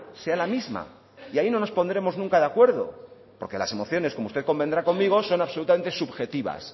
sea la misma y ahí no nos pondremos nunca de acuerdo porque las emociones como usted convendrá conmigo son absolutamente subjetivas